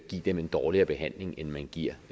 give dem en dårligere behandling end man giver